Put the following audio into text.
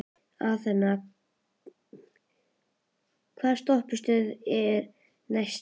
Athena, hvaða stoppistöð er næst mér?